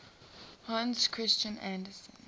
hans christian andersen